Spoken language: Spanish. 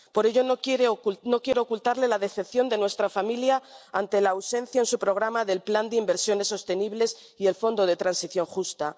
Por ello, no quiero ocultarle la decepción de nuestra familia por la ausencia en su programa del plan de inversiones sostenibles y el fondo de transición justa.